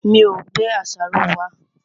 Mi ò gbé àṣàrò wá.